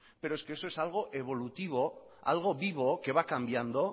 pero es que eso es algo evolutivo algo vivo que va cambiando